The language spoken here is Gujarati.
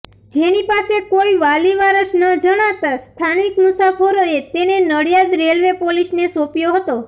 જેની પાસે કોઈ વાલીવારસ ન જણાતાં સ્થાનિક મુસાફરોએ તેને નડિયાદ રેલવે પોલીસને સોંપ્યો હતો